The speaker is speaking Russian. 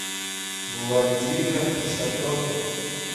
владимир шатохин